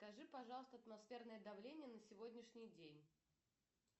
скажи пожалуйста атмосферное давление на сегодняшний день